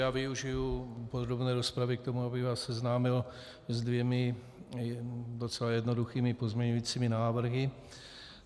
Já využiji podrobné rozpravy k tomu, abych vás seznámil se dvěma docela jednoduchými pozměňujícími návrhy.